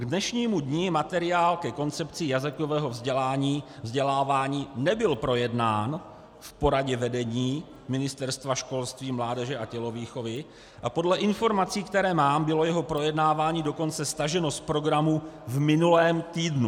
K dnešnímu dni materiál ke koncepci jazykového vzdělávání nebyl projednán v poradě vedení Ministerstva školství, mládeže a tělovýchovy a podle informací, které mám, bylo jeho projednávání dokonce staženo z programu v minulém týdnu.